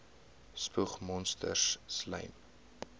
spoeg monsters slym